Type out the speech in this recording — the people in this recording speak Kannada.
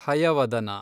ಹಯವದನ